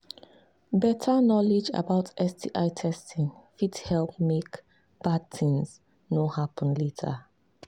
better knowledge about sti testing fit help make bad thing no happen later